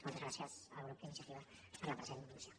moltes gràcies al grup d’iniciativa per la present moció